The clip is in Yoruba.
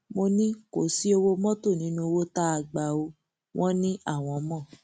mo ní kò sí owó mọtò nínú owó tá a gbà ọ wọn ní àwọn mọ